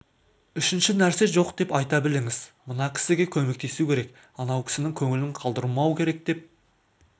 үшінші нәрсе жоқ деп айта біліңіз мына кісіге көмектесу керек анау кісінің көңілін қалдырмау керек деп